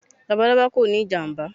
Labalaba kò ní ìjàmbá.